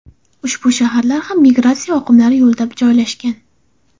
Ushbu shaharlar ham migratsiya oqimlari yo‘lida joylashgan.